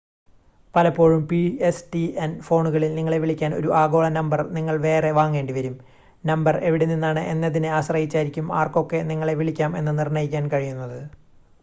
പലപ്പോഴും, pstn ഫോണുകളിൽ നിങ്ങളെ വിളിക്കാൻ ഒരു ആഗോള നമ്പർ നിങ്ങൾ വേറെ വാങ്ങേണ്ടിവരും. നമ്പർ എവിടെനിന്നാണ് എന്നതിനെ ആശ്രയിച്ചായിരിക്കും ആർക്കൊക്കെ നിങ്ങളെ വിളിക്കാം എന്ന് നിർണ്ണയിക്കാൻ കഴിയുന്നത്